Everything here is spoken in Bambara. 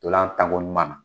Tolan tan ko ɲuman na